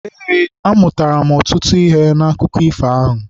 Eé, amụtara m ọtụtụ ihe n'akụkọ ifo ahụ.